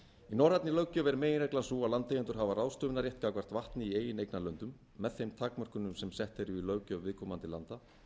norrænni löggjöf er meginreglan sú að landeigendur hafa ráðstöfunarrétt gagnvart vatni í eigin eignarlöndum með þeim takmörkunum sem sett eru í löggjöf viðkomandi landa